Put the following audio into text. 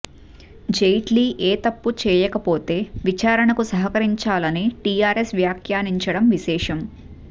జైట్లి ఏ తప్పు చేయకపోతే విచారణకు సహకరించాలని టిఆర్ఎస్ వ్యాఖ్యానించడం విశేషం